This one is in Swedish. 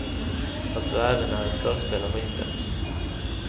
Alltså även när ett förspel har inletts.